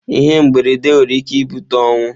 Ihe mberede nwere ike ibute ọnwụ.